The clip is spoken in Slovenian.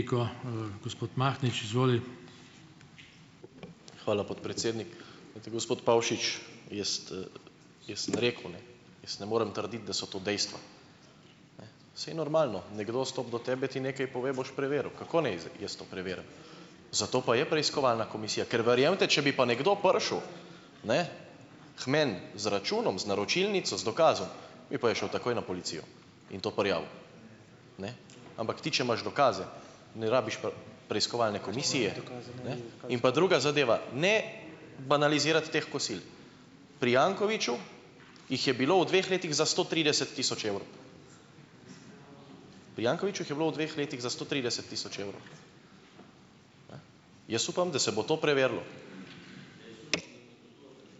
Hvala, podpredsednik. Gospod Pavšič. Jaz, jaz sem rekel, ne, jaz ne morem trditi, da so to dejstva. Saj normalno. Nekdo stopi do tebe, ti nekaj pove, boš preveril. Kako naj jaz to preverim? Zato pa je preiskovalna komisija. Ker verjemite, če bi pa nekdo prišel, ne, k meni z računom, z naročilnico, z dokazom, bi pa jaz šel takoj na policijo in to prijavil. Ne. Ampak ti, če imaš dokaze, ne rabiš preiskovalne komisije . In pa druga zadeva. Ne banalizirati teh kosil. Pri Jankoviću jih je bilo v dveh letih za sto trideset tisoč evrov. Pri Jankoviću jih je bilo v dveh letih za sto trideset tisoč evrov. Jaz upam, da se bo to preverilo.